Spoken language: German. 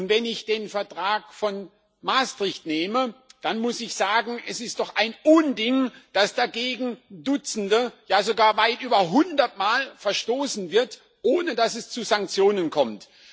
Wenn ich den Vertrag von Maastricht nehme, dann muss ich sagen Es ist doch ein Unding, dass dagegen dutzendmal ja sogar weit über hundertmal verstoßen wird, ohne dass es zu Sanktionen kommt.